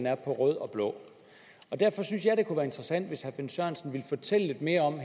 er på rød og blå derfor synes jeg det kunne være interessant hvis herre finn sørensen ville fortælle lidt mere om